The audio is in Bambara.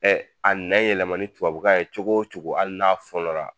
a nɛ yɛlɛma ni tubabukan ye cogo cogo ali n'a fɔnɔra